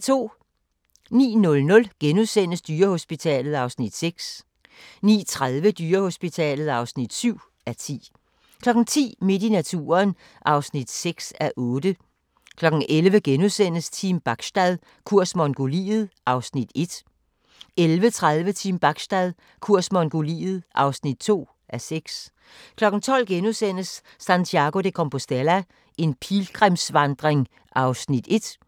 09:00: Dyrehospitalet (6:10)* 09:30: Dyrehospitalet (7:10) 10:00: Midt i naturen (6:8) 11:00: Team Bachstad – kurs Mongoliet (1:6)* 11:30: Team Bachstad – kurs Mongoliet (2:6) 12:00: Santiago de Compostela – en pilgrimsvandring (1:4)*